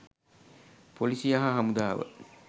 පොලීසිය හා හමුදාව.